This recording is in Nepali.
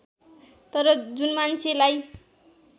तर जुन मान्छेलाई